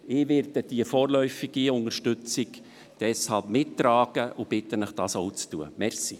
Ich werde die vorläufige Unterstützung deshalb mittragen, und bitte Sie, dies ebenfalls zu tun.